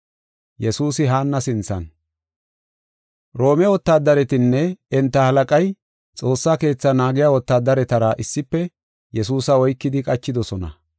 Roome wotaadaretinne enta halaqay Xoossa Keetha naagiya wotaadaretara issife Yesuusa oykidi qachidosona.